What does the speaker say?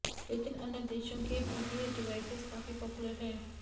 लेकिन अन्य देशों में पीडीए डिवाइसेस काफी पॉपुलर हैं